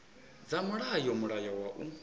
dza mulayo mulayo wa u